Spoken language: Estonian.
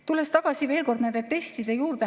Tulen veel kord tagasi nende testide juurde.